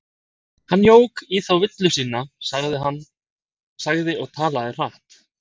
Hann jók í þá villu sína, sagði og talaði hratt